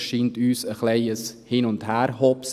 Das scheint uns ein wenig ein Hin-und-Her-Hopsen.